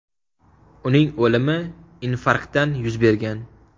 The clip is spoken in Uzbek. Uning o‘limi infarktdan yuz bergan.